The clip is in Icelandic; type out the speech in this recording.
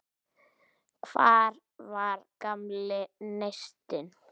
Hvar var gamli neistinn?